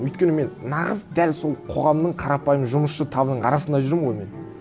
өйткені мен нағыз дәл сол қоғамның қарапайым жұмысшы табының арасында жүрмін ғой мен